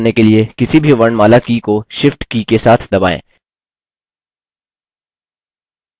बड़े अक्षरों में type करने के लिए किसी भी वर्णमाला की को shift की के साथ दबाएँ